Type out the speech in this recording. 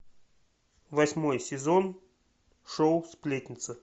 восьмой сезон шоу сплетница